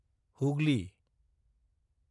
Hooghly